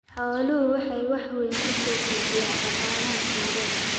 Xooluhu waxay wax weyn ku soo kordhinayaan dhaqaalaha tuulada.